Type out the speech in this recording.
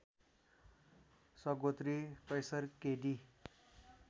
सगोत्री कैसर के डी